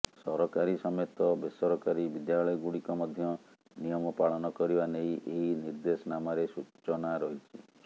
ସରକାରୀ ସମେତ ବେସରକାରୀ ବିଦ୍ୟାଳୟଗୁଡ଼ିକ ମଧ୍ୟ ନିୟମ ପାଳନ କରିବା ନେଇ ଏହି ନିର୍ଦ୍ଦେଶନାମାରେ ସୂଚନା ରହିଛି